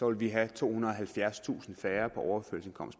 at vi havde tohundrede og halvfjerdstusind færre